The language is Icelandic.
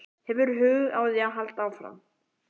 Hefurðu hug á því að halda áfram?